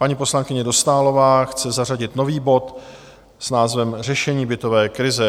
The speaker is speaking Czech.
Paní poslankyně Dostálová chce zařadit nový bod s názvem Řešení bytové krize.